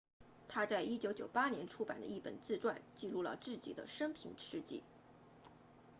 他在1998年出版了一本自传记录了自己的生平事迹